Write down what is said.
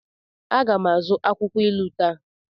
A ga m azụta akwukwo ilu taa.